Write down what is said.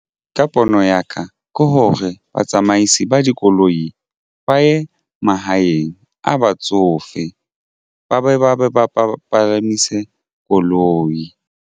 Ka pono ya ka ke hore batsamaisi ba dikoloi ba ye mahaeng a batsofe ba be ba ba palamise koloi.